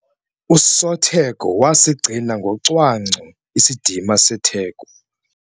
Usotheko wasigcina ngocwangco isidima setheko.